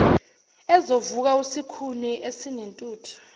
ezovuka usikhuni esinentuthu